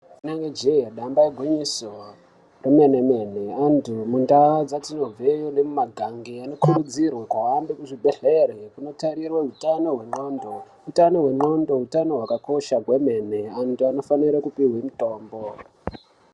Inenge jee damba igwinyiso remene-mene antu mundaa dzatinobveyo nemumagangi anokurudzirwa kuhambe kuzvibhehleri kunotarirwe utano hwendxondo. Utano hwendxondo utano hwakakosha kwemene, antu anofane kupihwe mutombo.